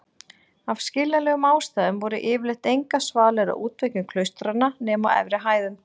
Af skiljanlegum ástæðum voru yfirleitt engar svalir á útveggjum klaustranna nema á efri hæðum.